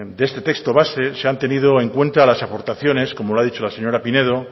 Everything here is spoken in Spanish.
de este texto base se han tenido en cuenta las aportaciones como lo ha dicho la señora pinedo